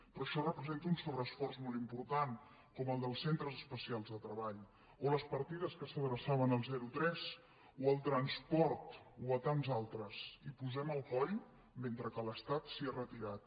però això representa un sobreesforç molt important com el dels centres especials de treball o les partides que s’adreçaven al zero a tres o al transport o a tants altres hi posem el coll mentre que l’estat se n’ha retirat